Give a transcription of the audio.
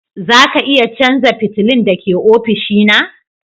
Za ka iya canza fitilun da ke ofishina?